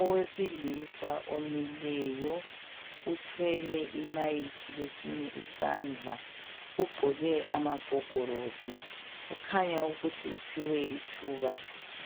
Owesilisa omileyo uthwele imayikhi kwesinye isandla. Ugqoke amagogorosi. Ukhanya ukuthi uphiwe ithuba